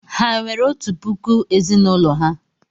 Ha enwere otu puku ezì n'ụlọ ha?